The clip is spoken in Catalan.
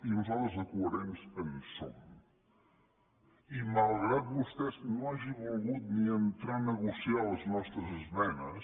i nosaltres de coherents en som i malgrat que vostè no hagi volgut ni entrar a negociar les nostres esmenes